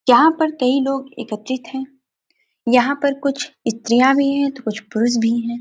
यहाँ पर कई लोग एकत्रित हैं यहाँ पर कुछ स्त्रिया भी हैं तो कुछ पुरुष भी हैं।